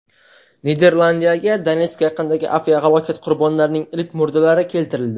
Niderlandiyaga Donetsk yaqinidagi aviahalokat qurbonlarining ilk murdalari keltirildi.